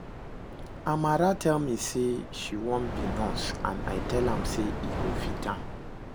Amara tell me say she wan be nurse and I tell am say e go fit am